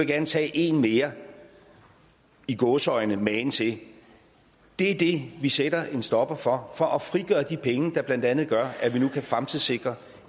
gerne tage én mere i gåseøjne magen til det er det vi sætter en stopper for for at frigøre de penge der blandt andet gør at vi nu kan fremtidssikre